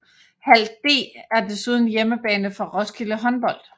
Hal D er desuden hjemmebane for Roskilde Håndbold